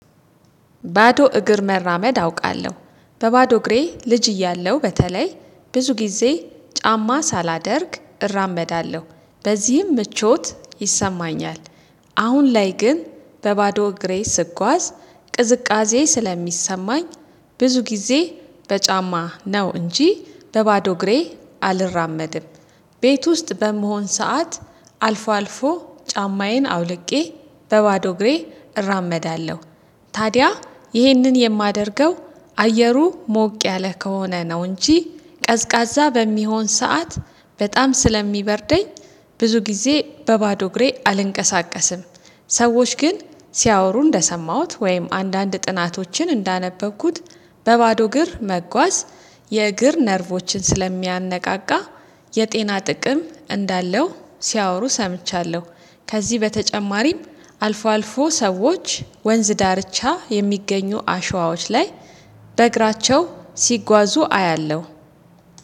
ባዶ እግር መራመድ አውቃለሁ በባዶ እግሬ ልጅ እያለሁ በተለይ ብዙ ጊዜ ጫማ ሳላደርግ እራመዳለሁ በዚህም ምቾት ይሰማኛል። አሁን ላይ ግን በባዶ እግሬ ስጓዝ ቅዝቃዜ ስለሚሰማኝ ብዙ ጊዜ በጫማ ነው እንጂ በባዶ ግሬ አልራመድም። ቤት ውስጥ በመሆን ሰዓት አልፎ አልፎ ጫማዬን አውልቄ በባዶ ግሬ እራመዳለሁ። ታዲያ ይህንን የማደርገው አየሩ ሞቅ ያለ ከሆነ ነው እንጂ ቀዝቃዛ በሚሆን ሰዓት በጣም ስለሚበርደኝ ብዙ ጊዜ በባዶ እግሬ አልንቀሳቀስም። ሰዎች ግን ሲያወሩ እንደሰማሁት ወይም አንዳንድ ጥናቶችን እንዳነበብኩት በባዶ እግር መጓዝ የእግር ነርቮችን ስለሚያነቃቃ የጤና ጥቅም እንዳለው ሲያወሩ ሰምቻለሁ። ከዚህ በተጨማሪም አልፎ አልፎ ሰዎች ወንዝ ዳርቻ የሚገኙ አሸዋዎች ላይ በእግራቸው ሲጓዙ አያለሁ